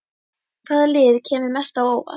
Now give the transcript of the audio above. Hvaða lið kemur mest á óvart?